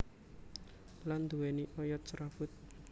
Lan nduwéni oyot serabut